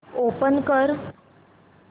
open कर